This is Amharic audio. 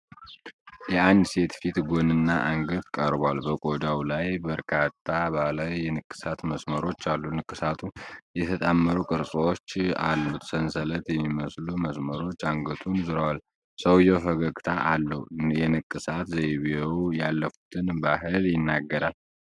የአንድ ሰው ፊት ጎንና አንገት ቀርቧል። በቆዳው ላይ በርካታ ባህላዊ የንቅሳት መስመሮች አሉ። ንቅሳቱ የተጣመሩ ቅርጾች አሉት። ሰንሰለት የሚመስሉ መስመሮች አንገቱን ዞረዋል። ሰውየው ፈገግታ አለው። የንቅሳት ዘይቤው ያለፉትን ባህል ይናገራል።